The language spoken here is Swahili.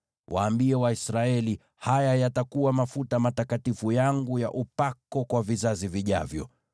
Waambie Waisraeli, ‘Haya yatakuwa mafuta matakatifu yangu ya upako kwa vizazi vijavyo.